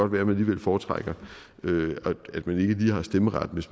være man alligevel foretrækker at man ikke lige har stemmeret